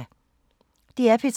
DR P3